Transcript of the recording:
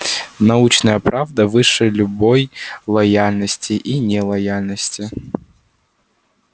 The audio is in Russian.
научная правда выше любой лояльности и нелояльности